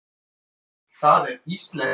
Það er íslenskt fyrirtæki.